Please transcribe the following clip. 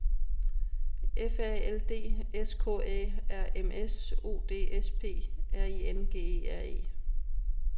F A L D S K Æ R M S U D S P R I N G E R E